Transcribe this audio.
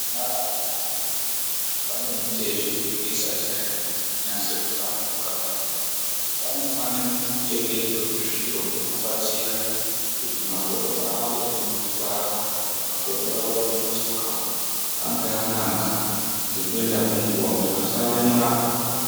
Vana vadoko vane mitezo inenge isati yanyase ku hlamburuka kudai vano fane kutengerwe hu zviro hunova batsira kuti magodo avo emuzvi nzwara magodo awo emu matsoka ange anaka ngeku enda kwe nguva kuti vasa remara.